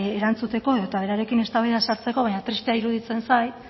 erantzuteko edo eta berarekin eztabaidan sartzeko baina tristea iruditzen zait